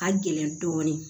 Ka gɛlɛn dɔɔnin